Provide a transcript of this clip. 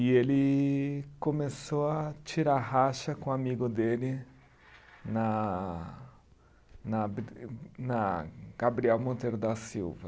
E ele começou a tirar racha com um amigo dele na na na Gabriel Monteiro da Silva.